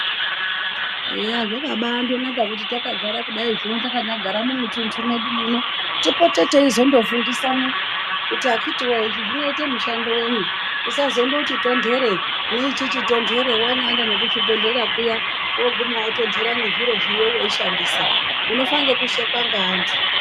Eya zvakabanaka kuti ndakandodai kugara takanyagara mumutuntu mwedu muno tipote teizondofundiswa kuti akiti woye izvi zvinoita mushando wenyi tisazondoti tondere neichichi tondere wanyaenda nekuzvibhedhlera kuya woguma wotondeta nezvi zviro zviriyo weishandisa. Unofa nekushekwa neantu.